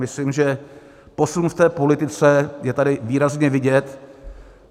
Myslím, že posun v té politice je tady výrazně vidět.